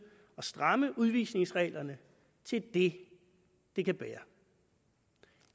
at stramme udvisningsreglerne til det det kan bære